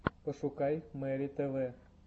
пошукай мэри тв